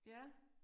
Ja